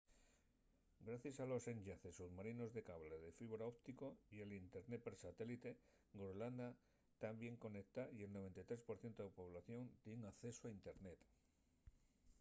gracies a los enllaces submarinos de cable de fibra óptico y al internet per satélite groenlandia ta bien conectada y el 93% de la población tien accesu a internet